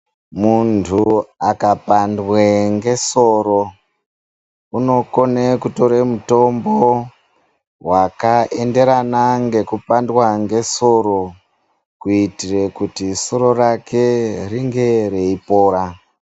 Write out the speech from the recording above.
Munthu akapandwe ngesoro unokone kutore mutombo wakaenderana ngekupandwa ngesoro kuitire kuti soro rake ringe reipora.